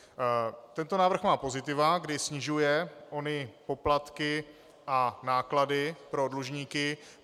Tento návrh má pozitiva, kdy snižuje ony poplatky a náklady pro dlužníky.